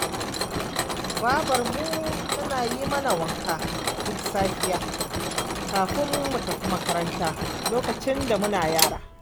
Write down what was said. Babarmu tana yi mana wanka duk safiya, kafin mu tafi makaranta, lokacin da muna yara